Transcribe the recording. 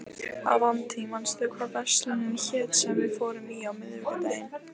Avantí, manstu hvað verslunin hét sem við fórum í á miðvikudaginn?